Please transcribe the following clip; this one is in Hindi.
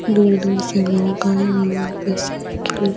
दूर-दूर से लोग आये हुए है यहा पे से --